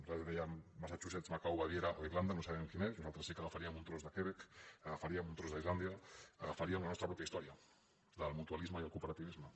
nosaltres dèiem massachusettes ma·cau baviera o irlanda no sabem quin és nosaltres sí que agafaríem un tros de quebec agafaríem un tros d’islàndia agafaríem la nostra mateixa història la del mutualisme i el cooperativisme